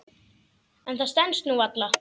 En það stenst nú varla.